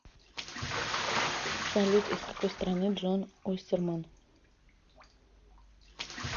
салют из какой страны джон остерман